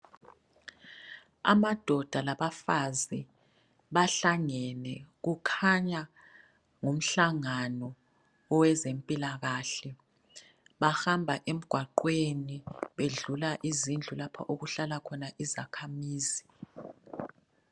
Amadoda labafazi bahlangene kukhanya ngumhlangano owezempilakahle bahamba emgwaqweni bedlula izindlu lapho okuhlala khona izakhamizi.